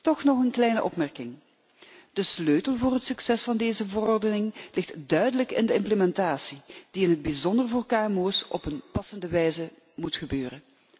Toch nog een kleine opmerking de sleutel voor het succes van deze verordening ligt duidelijk in de implementatie, die in het bijzonder voor KMO's op een passende wijze moet gebeuren.